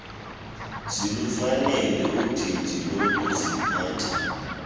zilufanele udidi lokuziphatha